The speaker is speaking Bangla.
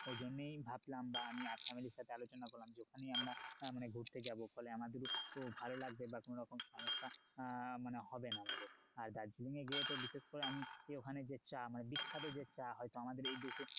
ওই জন্যেই ভাবলাম বা আমি family র সাথে আলোচনা করলাম যে ওখানেই আমরা মানে ঘুরতে যাবো ফলে আমাদেরও ভালো লাগবে বা কোনো রকম সমস্যা আহ মানে হবে না আমাদের আর দার্জিলিং এ গিয়ে বিশেষ করে তো আমি ওখানে যে চা মানে বিখ্যাত যে চা হয়তো আমাদের এই দেশে